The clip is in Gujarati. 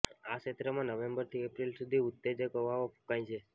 આ ક્ષેત્રમાં નવેમ્બરથી એપ્રિલ સુધી ઉત્તેજક હવાઓ ફૂંકાય છે